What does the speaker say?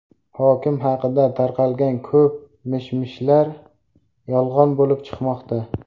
Hokim haqida tarqalgan ko‘p mish-mishlar yolg‘on bo‘lib chiqmoqda.